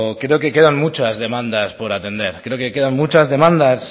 creo que quedan muchas demandas por atender creo que quedan muchas demandas